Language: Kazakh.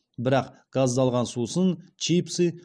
бірақ газдалған сусын чипсы